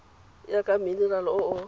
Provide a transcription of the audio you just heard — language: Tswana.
ya ka minerale o o